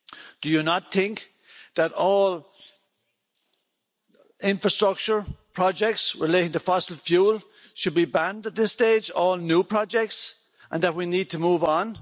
Do you not think that all infrastructure projects relating to fossil fuel should be banned at this stage all new projects and that we need to move on?